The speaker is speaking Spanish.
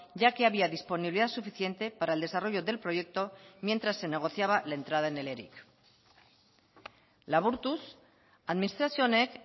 ya que había disponibilidad suficiente para el desarrollo del proyecto mientras se negociaba la entrada en el eric laburtuz administrazio honek